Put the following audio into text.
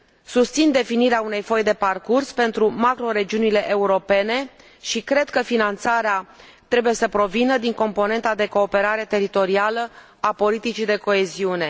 Susțin definirea unei foi de parcurs pentru macroregiunile europene și cred că finanțarea trebuie să provină din componenta de cooperare teritorială a politicii de coeziune.